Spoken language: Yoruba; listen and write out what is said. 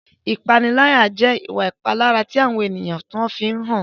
Ìpaniláyà jẹ́ ìwà ìpalára tí àwọn ènìyàn kan fi ń hàn.